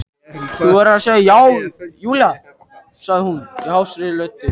Þú verður að segja já, Júlía sagði hún hásri röddu.